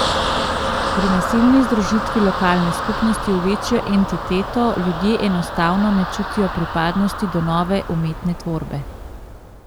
Pri nasilni združitvi lokalne skupnosti v večjo entiteto, ljudje enostavno ne čutijo pripadnosti do nove umetne tvorbe.